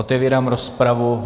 Otevírám rozpravu.